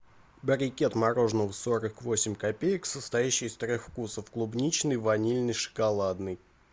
брикет мороженого сорок восемь копеек состоящий из трех вкусов клубничный ванильный шоколадный